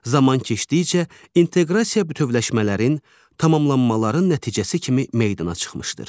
Zaman keçdikcə inteqrasiya bütövləşmələrin, tamamlanmaların nəticəsi kimi meydana çıxmışdır.